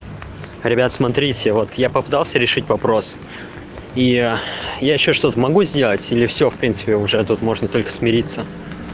ребят смотрите вот я попытался решить вопрос и я я ещё что-то могу сделать или все в принципе уже тут можно только смириться